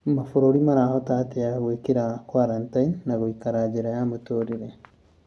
Mabũrũri marahota atia gwĩkira kwarantini na gũikara njĩra ya mũtũrire